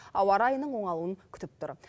ауа райының оңалуын күтіп тұр